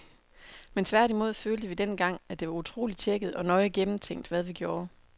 Men tværtimod følte vi dengang, at det var utroligt tjekket og nøje gennemtænkt, hvad vi gjorde.